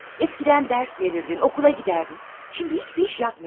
Əvvəllər dərs verərdin, məktəbə gedərdin, indi heç bir iş görmürsən.